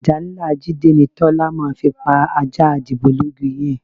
Àdá ńlá Jídé ni Tọ́lá máa fi pa ajá dìgbòlugi yẹn